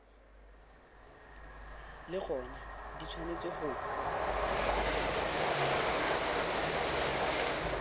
le gona di tshwanetse go